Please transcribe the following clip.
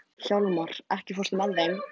Hjálmar, ekki fórstu með þeim?